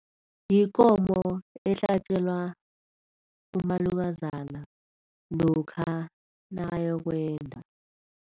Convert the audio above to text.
Yikomo ehlatjelwa umalukazana lokha nakayokwenda.